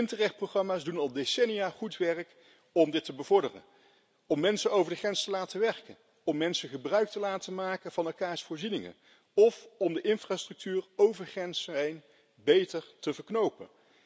De Interreg programma's doen al decennia goed werk om dit te bevorderen, om mensen over de grens te laten werken, om mensen gebruik te laten maken van elkaars voorzieningen of om de infrastructuur over grenzen heen beter te verknopen.